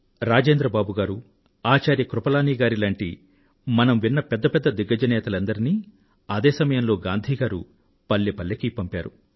రాజేంద్ర బాబు గారు ఆచార్య కృపలానీ గారి లాంటి మనం విన్న పెద్ద పెద్ద దిగ్గజ నేతలనందరినీ అదే సమయంలో గాంధీ గారు పల్లెపల్లెకూ పంపారు